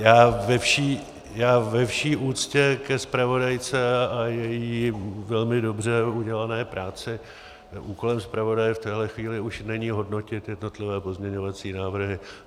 Já ve vší úctě ke zpravodajce a její velmi dobře udělané práci - úkolem zpravodaje v téhle chvíli už není hodnotit jednotlivé pozměňovací návrhy.